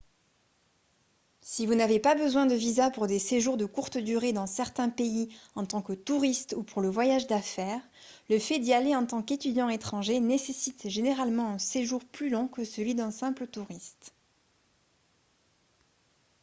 si vous n'avez pas besoin de visa pour des séjours de courte durée dans certains pays en tant que touriste ou pour le voyage d'affaires le fait d'y aller en tant qu'étudiant étranger nécessite généralement un séjour plus long que celui d'un simple touriste